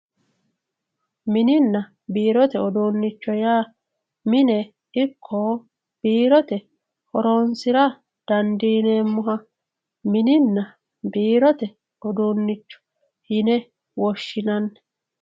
mininna birote udunicho ya mine iko birote horonsira dandinemoha mininna birote udunicho yine woshinanni